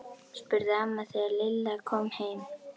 spurði amma þegar Lilla kom heim.